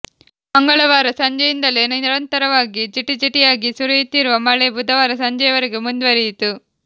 ಮಂಗಳವಾರ ಸಂಜೆಯಿಂದಲೇ ನಿರಂತರವಾಗಿ ಜಿಟಿಜಿಟಿಯಾಗಿ ಸುರಿಯುತ್ತಿರುವ ಮಳೆ ಬುಧವಾರ ಸಂಜೆವರೆಗೂ ಮುಂದುವರಿಯಿತು